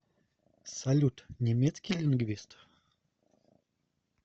салют немецкий лингвист